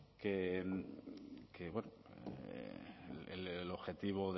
que el objetivo